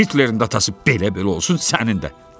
Hitlerin də atası belə-belə olsun, sənin də.